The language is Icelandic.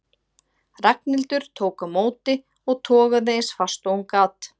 Ragnhildur tók á móti og togaði eins fast og hún gat.